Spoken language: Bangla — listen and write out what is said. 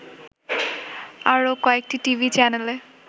আরো কয়েকটি টিভি চ্যানেলে